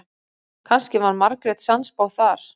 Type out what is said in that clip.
Kannski var Margrét sannspá þar.